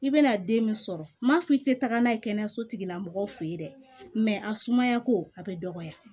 I bɛna den min sɔrɔ m'a fɔ i tɛ taga n'a ye kɛnɛyaso tigila mɔgɔw fɛ yen dɛ a sumayako a bɛ dɔgɔya